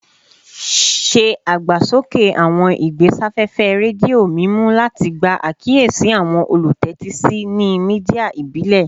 Se agbasoke awọn igbesafefe redio mimu lati gba akiyesi awọn olutẹtisi ni media ibile